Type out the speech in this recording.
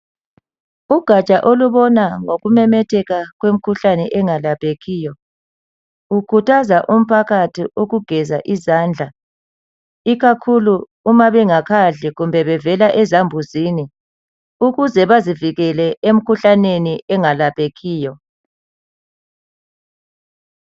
Ugaja olubona ngokumemetheka kwemikhuhlane engalaphekiyo. Lukhuthaza umphakathi ukugeza izandla, ikakhulu uma bengakadli kumbe bevela ezambuzini, ukuze bazivikele emikhuhlaneni engalaphekiyo.